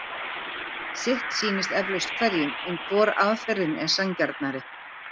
sitt sýnist eflaust hverjum um hvor aðferðin er sanngjarnari